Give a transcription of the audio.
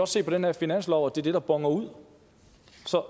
se på den her finanslov at det er det der boner ud